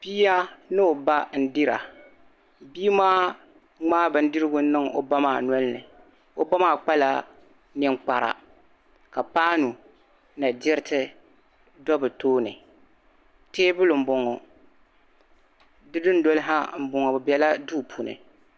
Bia ni o ba n-dira. Bii maa ŋmaa bindirigu n-niŋ o ba maa noli ni. O ba maa kpa la ninkpara ka paanu ni diriti do bi tooni. Tabili m-boŋo, di dundoli ha m-boŋo. Bi be la duu puuni.